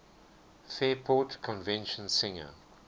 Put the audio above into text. fairport convention singer